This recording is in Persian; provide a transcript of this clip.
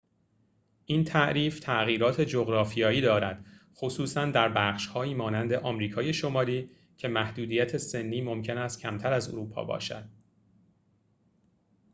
این تعریف تغییرات جغرافیایی دارد خصوصا در بخش‌هایی مانند آمریکای شمالی که محدودیت سنی ممکن است کمتر از اروپا باشد